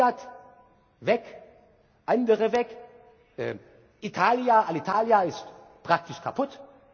Fiat weg, andere weg, Alitalia ist praktisch kaputt.